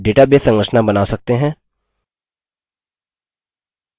हम database संरचना बना सकते हैं;